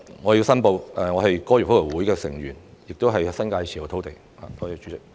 我申報，我是香港哥爾夫球會的成員，亦持有新界土地。